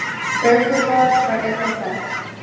Ökumaður var einn á ferð.